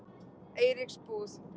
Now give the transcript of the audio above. Eiríksbúð